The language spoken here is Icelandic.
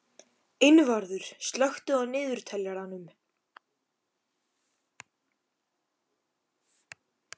Einvarður, slökktu á niðurteljaranum.